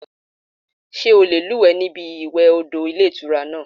Sé o lè lúùwé ní ibi ìwè odò Ilé Ìtura náà